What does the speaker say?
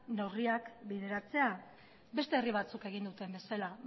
neurriak bideratzea beste herri batzuk egin duten bezala